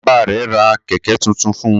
Bàbá rẹ̀ ra Kẹ̀kẹ́ tuntun fun